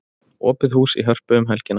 Opið hús í Hörpu um helgina